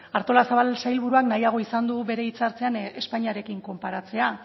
artolazabal sailburuak nahiago izan du bere hitz hartzean espainiarekin konparatzea